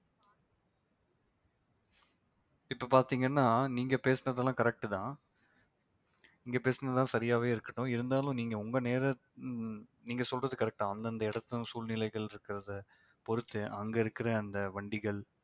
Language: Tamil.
இப்ப பார்த்தீங்கன்னா நீங்க பேசினதெல்லாம் correct தான் இங்க பேசினதுதான் சரியாவே இருக்கட்டும் இருந்தாலும் நீங்க உங்க நேர ஆஹ் நீங்க சொல்றது correct தான் அந்தந்த இடத்து சூழ்நிலைகள் இருக்கிறதை பொறுத்து அங்கே இருக்கிற அந்த வண்டிகள்